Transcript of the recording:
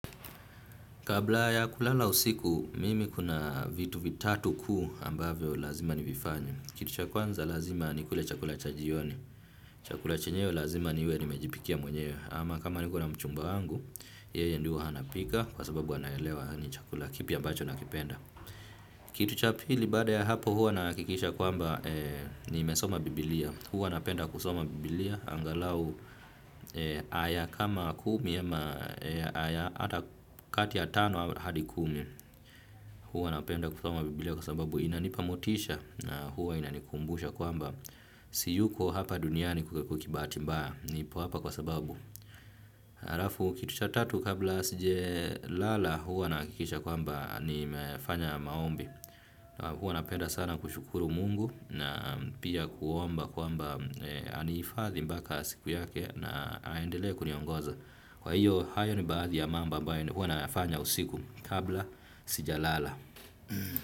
Kabla ya kulala usiku, mimi kuna vitu vitatu kuu ambavyo lazima nivifanye. Kitu cha kwanza lazima nikule chakula cha jioni. Chakula chenyewe lazima niwe nimejipikia mwenyewe. Ama kama niko na mchumba wangu, yeye ndiye huwa anapika, kwa sababu anaelewa ni chakula kipi ambacho nakipenda. Kitu cha pili baada ya hapo huwa nahakikisha kwamba nimesoma biblia. Huwa napenda kusoma biblia, angalau haya kama kumi ama haya kati ya tano hadi kumi. Huwa napenda kusoma biblia kwa sababu inanipa motisha na huwa inanikumbusha kwamba. Siyuko hapa duniani kwa kibahati mbaya, nipo hapa kwa sababu. Halafu kitu cha tatu kabla sijalala huwa nahakikisha kwamba nimefanya maombi. Huwa napenda sana kushukuru mungu na pia kuomba kuomba anihifadhi mpaka siku yake na aendelee kuniongoza. Kwa hiyo hayo ni baadhi ya mambo ambayo huwa nayafanya usiku kabla sijalala.